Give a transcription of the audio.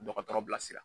Dɔgɔtɔrɔ bilasira